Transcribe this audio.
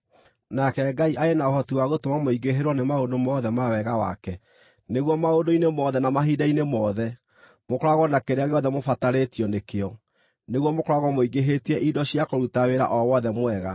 Nake Ngai arĩ na ũhoti wa gũtũma mũingĩhĩrwo nĩ maũndũ mothe ma wega wake, nĩguo maũndũ-inĩ mothe na mahinda-inĩ mothe, mũkoragwo na kĩrĩa gĩothe mũbatarĩtio nĩkĩo, nĩguo mũkoragwo mũingĩhĩtie indo cia kũruta wĩra o wothe mwega.